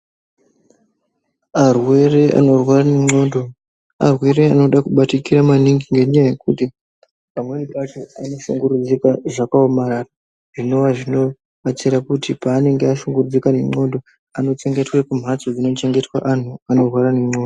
Arwere ano rwara ne ndxondo arwere anoda kubatikira maningi nenyaya yekuti pamweni pacho ano shungurwudzirqaa zvaka omarara zvinova zvino batsira kuti pavanenge ashungurudzike ne ndxondo anochengetwe kumbatso ino chengetwe vantu vano rwara ne ndxondo.